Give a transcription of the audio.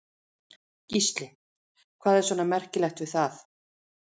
Gísli: Hvað er svona merkilegt við það?